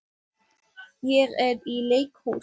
Hún fer fram í eldhús og dvelur þar sem nemur einni síg